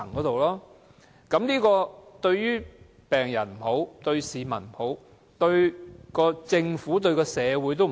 這樣不論對病人、市民、政府、社會也不好。